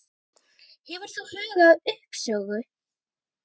Hefur þú hugað að uppsögn?